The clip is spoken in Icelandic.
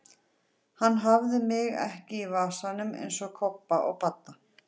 Hann hafði mig ekki í vasanum eins og Kobba og Badda!